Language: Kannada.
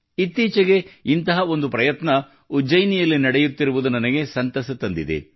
ಇತ್ತೀಚೆಗೆ ಇಂತಹ ಒಂದು ಪ್ರಯತ್ನ ಉಜ್ಜಯಿನಿಯಲ್ಲಿ ನಡೆಯುತ್ತಿರುವುದು ನನಗೆ ಸಂತಸ ತಂದಿದೆ